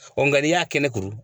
nga n'i y'a kɛnɛ kuru